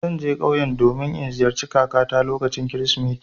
Zan je ƙauye domin in ziyarci kakata lokacin Kirsimeti.